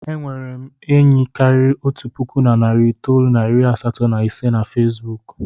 E nwere m enyi karịrị otu puku na narị itoolu na iri asatọ na ise na Fesbuku.